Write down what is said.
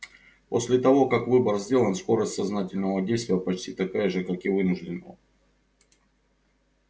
после того как выбор сделан скорость сознательного действия почти такая же как и вынужденного